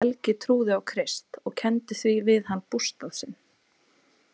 Helgi trúði á Krist og kenndi því við hann bústað sinn.